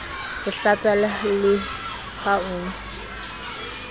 o hlatsa le ha o